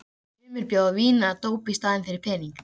Sumir bjóða vín eða dóp í staðinn fyrir peninga.